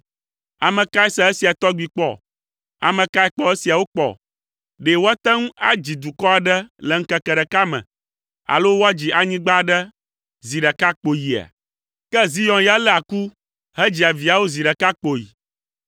Ame kae se esia tɔgbi kpɔ? Ame kae kpɔ esiawo kpɔ? Ɖe woate ŋu adzi dukɔ aɖe le ŋkeke ɖeka me, alo woadzi anyigba aɖe zi ɖeka kpoyia? Ke Zion ya léa ku hedzia viawo zi ɖeka kpoyi.